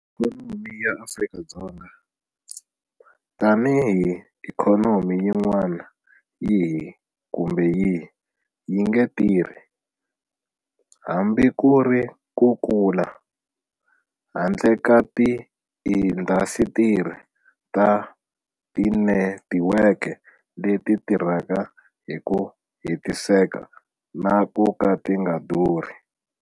Ikhonomi ya Afrika-Dzonga, tanihi ikhonomi yin'wana yihi kumbe yihi, yi nge tirhi, hambi ku ri ku kula, handle ka tiindasitiri ta tinetiweke leti tirhaka hi ku hetiseka na ku ka ti nga durhi.